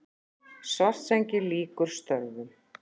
Svartsengi lýkur störfum.